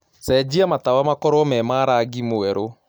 cenjĩa matawa makorwo me ma rangĩ mwerũ